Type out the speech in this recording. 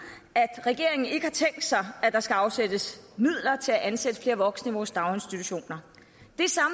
at regeringen ikke har tænkt sig at der skal afsættes midler til at ansætte flere voksne i vores daginstitutioner